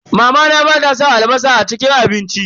Mamana bata san albasa a cikin abinci.